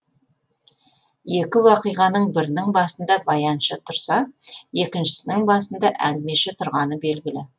екі уақиғаның бірінің басында баяншы тұрса екіншісінің басында әңгімеші тұрғаны белгілі